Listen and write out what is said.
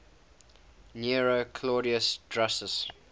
nero claudius drusus